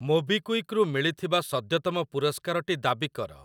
MobiKwik ରୁ ମିଳିଥିବା ସଦ୍ୟତମ ପୁରସ୍କାର ଟି ଦାବି କର।